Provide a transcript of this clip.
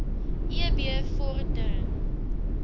eb vor dering